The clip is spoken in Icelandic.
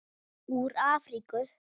Úr Afríku!